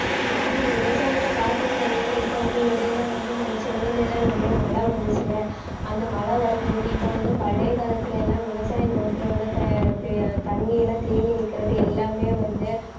ஆமா விவசாயத்தை பார்த்திருந்தாங்கன்னா இப்ப வந்து இடையில வந்து நம்ம சென்னையிலலாம் நிறைய மழை வந்துச்சுல்ல அந்த மழை வரும்போது இப்ப வந்து பழைய காலத்துல எல்லாம் விவசாய நிலத்தில உள்ள த~ தெ~ தண்ணியெல்லாம் தேங்கி நிற்கிறது எல்லாமே வந்து